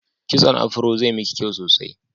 Kitson afiro zai miki kyau sosai